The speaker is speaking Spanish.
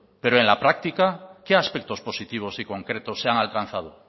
pero en la práctica qué aspectos positivos y concretos se han alcanzado